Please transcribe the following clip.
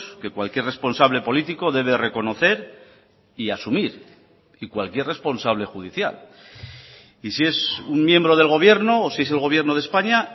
que cualquier responsable político debe reconocer y asumir y cualquier responsable judicial y si es un miembro del gobierno o si es el gobierno de españa